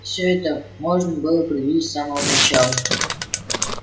всё это можно было предвидеть с самого начала